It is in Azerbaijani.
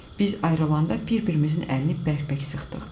Biz ayrılanda bir-birimizin əlini bərkbək sıxdıq.